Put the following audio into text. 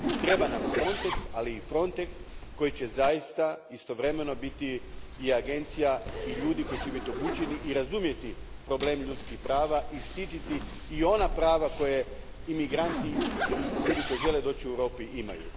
I treba nam Frontex, ali Frontex koji će zaista istovremeno biti i agencija i ljudi koji će biti obučeni i razumjeti probleme ljudskih prava i štititi i ona prava koje imigranti i ljudi koji žele doći u Europu imaju.